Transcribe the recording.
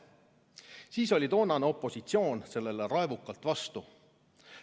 Siis oli toonane opositsioon sellele raevukalt vastu.